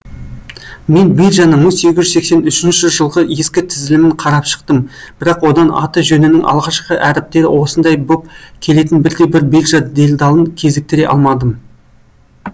мен биржаның мың сегіз жүз сексен үшінші жылғы ескі тізілімін қарап шықтым бірақ одан аты жөнінің алғашқы әріптері осындай боп келетін бірде бір биржа делдалын кезіктіре алмадым